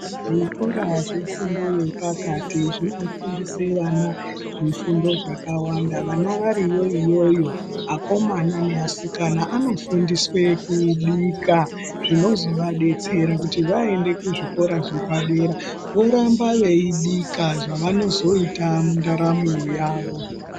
Zvikora zvefundo yepakati zvinofundise vana zvifundo zvakawanda ,vana variyo iyoyo akomana neasikana anofundiswe kubika zvinozovadetsera kuti vaende kuzvikora zvepadera voramba veibika zvavanozoita mundaramo yavo.